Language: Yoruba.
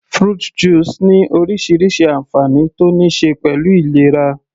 Fruit juice ní orísirísi ànfàní tó níí ṣe pẹ̀lú ìlera